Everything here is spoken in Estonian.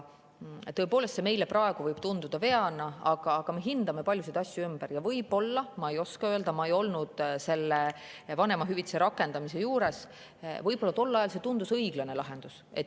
Tõepoolest, meile võib see praegu tunduda veana, aga me hindame paljusid asju ümber ja võib-olla tol ajal – ma ei oska öelda, ma ei olnud selle vanemahüvitise rakendamise juures – tundus see õiglane lahendus.